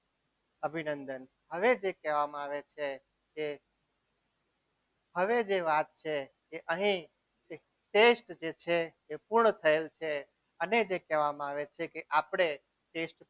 અભિનંદન હવે જે કહેવામાં આવે છે કે હવે જે વાત છે અહીં test જે છે સંપૂર્ણ થયેલ છે અને જે કહેવામાં આવે છે કે આપણે test